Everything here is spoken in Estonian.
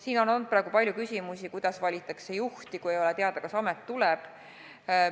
Siin on olnud palju küsimusi, kuidas juba valitakse juhti, kui ei ole teada, kas amet üldse tuleb.